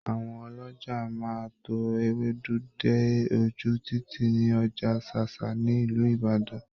Àwọn ọlọ́jà máa tó Ewédú dé oju títì ní Ọjà Ṣáṣá ní Ìlú Ìbàdàn.